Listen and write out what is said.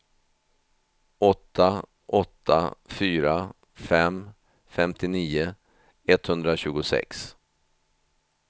åtta åtta fyra fem femtionio etthundratjugosex